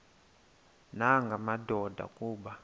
nanga madoda kuba